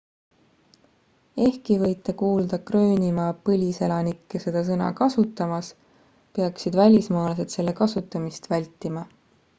ehkki võite kuulda gröönimaa põliselanikke seda sõna kasutamas peaksid välismaalased selle kasutamist vältima